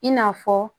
I n'a fɔ